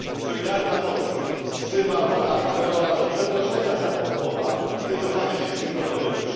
Solidarna Polska wzywa pana Camerona do przeproszenia za te słowa i wycofania się z tej propozycji.